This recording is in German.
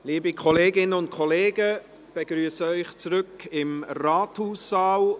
Liebe Kolleginnen und Kollegen, ich begrüsse Sie zurück im Ratssaal.